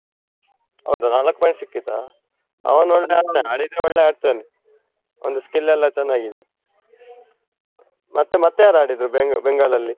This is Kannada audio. ಹೌದಾ, ನಾಲಕ್ಕು point ಸಿಕ್ಕಿತಾ? ಅವನು ಒಳ್ಳೆ ಆಡ್ತಾನೆ, ಆಡಿದ್ರೆ ಒಳ್ಳೆ ಆಡ್ತಾನೆ. ಅವಂದು skill ಎಲ್ಲ ಚೆನ್ನಾಗಿದೆ. ಮತ್ತೆ ಮತ್ತೆ ಯಾರ್ ಆಡಿದ್ರು Bengal ಲಲ್ಲಿ?